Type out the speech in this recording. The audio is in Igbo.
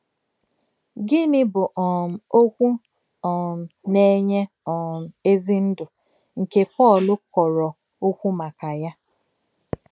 Gínị̀ bụ̀ um “òkwù um nà-ènyè um èzì ndú” nke Pọ́l kọ̀rò òkwù m̀ákà yà?